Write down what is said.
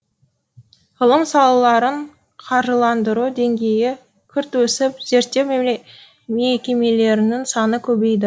ғылым салаларын қаржыландыру деңгейі күрт өсіп зерттеу мекемелерінің саны көбейді